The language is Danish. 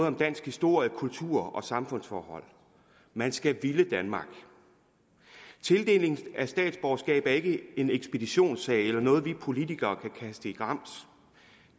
om dansk historie kultur og samfundsforhold man skal ville danmark tildelingen af statsborgerskab er ikke en ekspeditionssag eller noget vi politikere kan kaste i grams